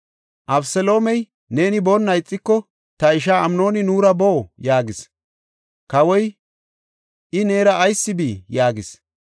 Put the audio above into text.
Abeseloomey, “Neeni boonna ixiko, ta ishaa Amnooni nuura boo” yaagis. Kawoy, “I neera ayis bii?” yaagis.